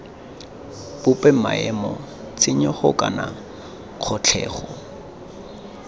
bope maemo tshenyego kana kgotlhelo